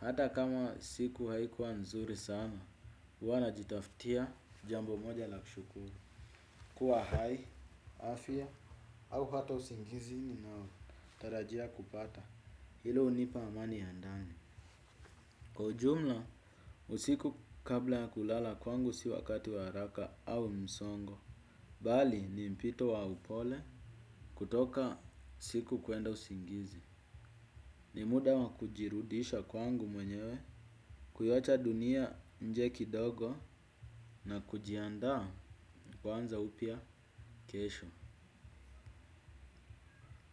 Hata kama siku haikuwa nzuri sana, huwa na jitaftia jambo moja la kushukuru. Kua hai, afya, au hata usingizi ninao tarajia kupata. Hilo hunipa amani ya ndani. Kwa ujumla usiku kabla kulala kwangu si wakati wa haraka au msongo bali, ni mpito wa upole kutoka siku kwenda usingizi. Ni muda wakujirudisha kwangu mwenyewe, kuiwacha dunia nje kidogo na kujianda kwanza upya kesho.